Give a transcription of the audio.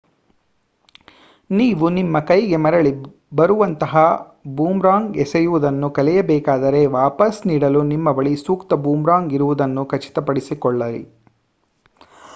ನೀವು ನಿಮ್ಮ ಕೈಗೆ ಮರಳಿ ಬರುವಂತಹ ಬೂಮರಾಂಗ್ ಎಸೆಯುವುದನ್ನು ಕಲಿಯಬೇಕಾದರೆ ವಾಪಸ್ ನೀಡಲು ನಿಮ್ಮ ಬಳಿ ಸೂಕ್ತ ಬೂಮರಾಂಗ್ ಇರುವುದನ್ನು ಖಚಿತ ಪಡಿಸಿಕೊಳ್ಳಿ